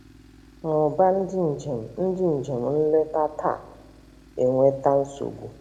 Mmuba ndị njem ndị njem nleta taa eweta nsogbu.